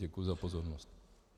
Děkuji za pozornost.